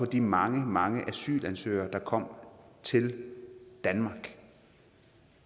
de mange mange asylansøgere der kom til danmark